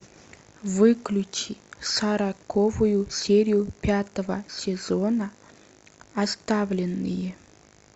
выключи сороковую серию пятого сезона оставленные